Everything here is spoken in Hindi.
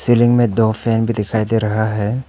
सीलिंग में दो फैन भी दिखाई दे रहा है।